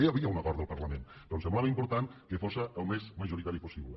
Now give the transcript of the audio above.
ja hi havia un acord del parlament però ens semblava important que fos el més majoritari possible